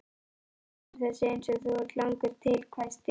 Þú lýgur þessu eins og þú ert langur til, hvæsti